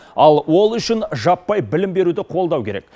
ал ол үшін жаппай білім беруді қолдау керек